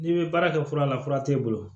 N'i bɛ baara kɛ fura la fura t'e bolo